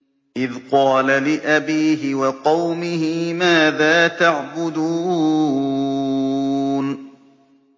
إِذْ قَالَ لِأَبِيهِ وَقَوْمِهِ مَاذَا تَعْبُدُونَ